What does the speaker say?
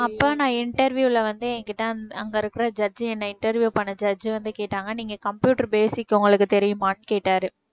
அப்ப நான் interview ல வந்து என்கிட்ட அங்~ அங்க இருக்கிற judge என்ன interview பண்ண judge வந்து கேட்டாங்க நீங்க computer basic உங்களுக்கு தெரியுமான்னு கேட்டாரு